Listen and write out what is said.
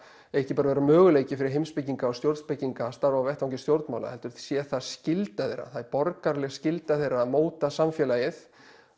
ekki bara að vera möguleiki fyrir heimspekinga og stjórnspekinga að starfa á vettvangi stjórnmála heldur sé það skylda þeirra það er borgaraleg skylda þeirra að móta samfélagið